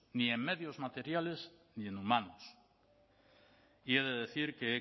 ni en medios materiales ni en humanos y he de decir que he